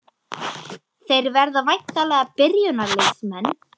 Þeir verða væntanlega byrjunarliðsmenn?